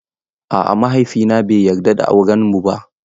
A'a mahaifina bai yarda da aurenmu ba.